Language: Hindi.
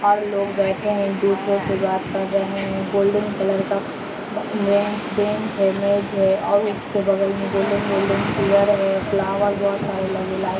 और लोग बैठे है एक दूसरे से बात कर रहे है गोल्डन कलर का बे बेंच बेंच है इमेज है और उसके बगल में गोल्डन गोल्डन चेयर है फ्लावर बहुत सारे है लाइट --